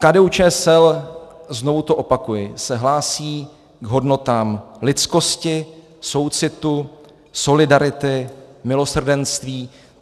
KDU-ČSL, znovu to opakuji, se hlásí k hodnotám lidskosti, soucitu, solidarity, milosrdenství.